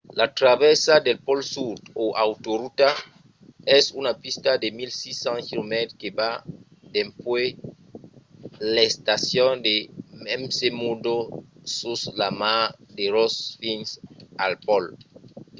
la travèrsa del pòl sud o autorota es una pista de 1600 km que va dempuèi l'estacion de mcmurdo sus la mar de ross fins al pòl